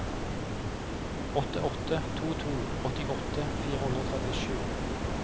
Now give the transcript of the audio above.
åtte åtte to to åttiåtte fire hundre og trettisju